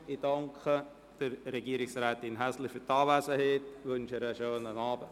Ich danke Regierungsrätin Häsler für ihre Anwesenheit und wünsche ihr einen schönen Abend.